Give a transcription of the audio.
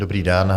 Dobrý den.